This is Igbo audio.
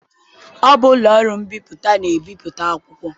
Ọ bụ ụlọ mbipụta na-ebipụta akwụkwọ.